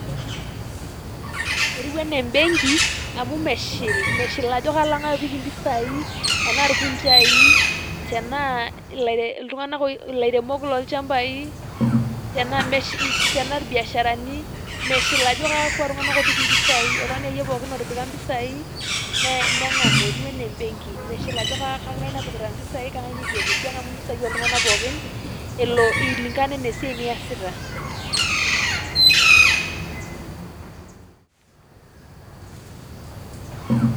etiu anaa ebenki, amu meshil, meshil ajo ke loong'ae oopik impisai anaa irkunjaii, te naailairemok loo ilchambai, te naa irbiasharani. meshil ajo kakua tung'anak oopik impisai. oltung'ani ake iyie otipika impisai. neng'amu etiu anaa embenki meshil ajo keng'ae napikita impisai keng'ae neitu epik keng'amu impisai oo iltung'anak pooki eiling'ana anaaa esiai niasita.